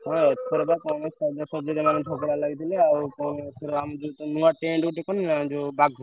ହଁ ଏଥର ବା ଝଗଡା ଲାଗିଥିଲା ଆଉ ଏଥର ପୁଣି ନୂଆ tent କନିନା ଯଉ ବାଘ।